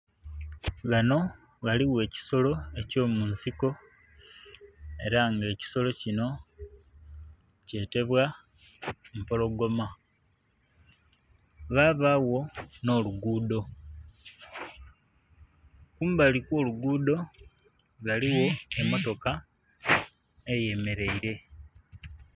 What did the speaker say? Ghano ghaligho ekisolo eky'omunsiko. Ela nga ekisolo kino kyetebwa empologoma. Ghabagho nh'oluguudho. Kumbali kw'oluguudho, ghaligho emmotoka eyemeleile.